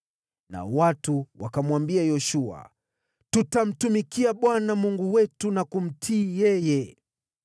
Nao watu wakamwambia Yoshua, “Tutamtumikia Bwana Mungu wetu na kumtii yeye.”